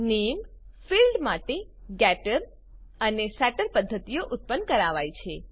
નામે ફિલ્ડ માટે ગેટર અને સેટર પદ્ધતિઓ ઉત્પન્ન કરાવાય છે